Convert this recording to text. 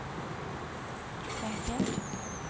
poengtert